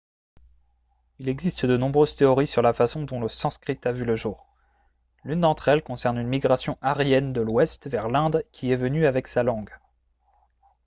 il existe de nombreuses théories sur la façon dont le sanskrit a vu le jour l'une d'entre elles concerne une migration aryenne de l'ouest vers l'inde qui est venue avec sa langue